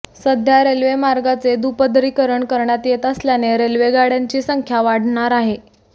सध्या रेल्वेमार्गाचे दुपदरीकरण करण्यात येत असल्याने रेल्वेगाडय़ांची संख्या वाढणार आहे